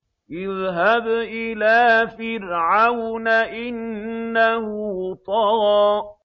اذْهَبْ إِلَىٰ فِرْعَوْنَ إِنَّهُ طَغَىٰ